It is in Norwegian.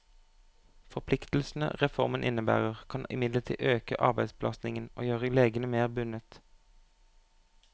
Forpliktelsene reformen innebærer, kan imidlertid øke arbeidsbelastningen og gjøre legene mer bundet.